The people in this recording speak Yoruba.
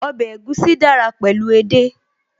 Ọbẹ̀ egusi dára pẹ̀lú edé